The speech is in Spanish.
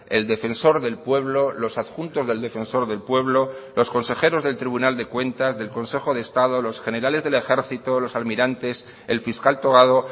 el defensor del pueblo los adjuntos del defensor del pueblo los consejeros del tribunal de cuentas del consejo de estado los generales del ejército los almirantes el fiscal togado